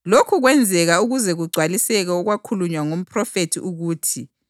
Lokhu kwenzeka ukuze kugcwaliseke okwakhulunywa ngomphrofethi ukuthi: